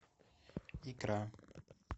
икра